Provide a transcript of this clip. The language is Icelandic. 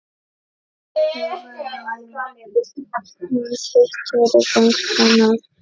Hugrún: Hvað hittirðu boltann oft?